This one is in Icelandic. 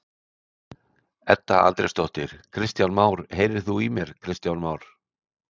Edda Andrésdóttir: Kristján Már, heyrir þú í mér Kristján Már?